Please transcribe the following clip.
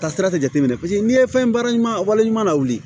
Ka sira tɛ jateminɛ n'i ye fɛn baara ɲuman wale ɲuman la wuli